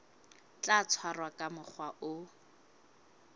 tla tshwarwa ka mokgwa o